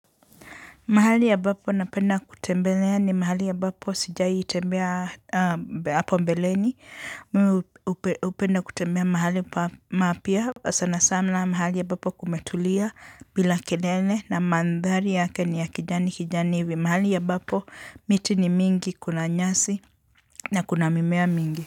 Mahali ambapo napenda kutembelea ni mahali ambapo sijaitembea hapo mbeleni. Mimi hupenda kutembea mahali papya. Sana sana mahali ambapo kumetulia bila kilele na mandhari yake ni ya kijani kijani hivi. Mahali ambapo miti ni mingi kuna nyasi na kuna mimea mingi.